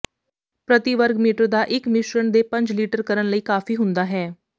ਪ੍ਰਤੀ ਵਰਗ ਮੀਟਰ ਦਾ ਇੱਕ ਮਿਸ਼ਰਣ ਦੇ ਪੰਜ ਲੀਟਰ ਕਰਨ ਲਈ ਕਾਫੀ ਹੁੰਦਾ ਹੈ